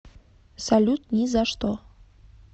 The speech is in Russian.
салют ни за что